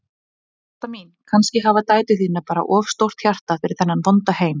Ásta mín, kannski hafa dætur þínar bara of stórt hjarta fyrir þennan vonda heim.